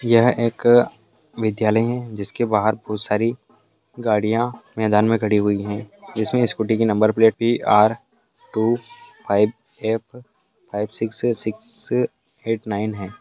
यह एक विद्यालय है जिसके बाहर बहुत सारी गाड़ियां मैदान में खड़ी हुई है जिसमे स्कूटी की नंबर प्लेट भी R two five F five six six eight nine है।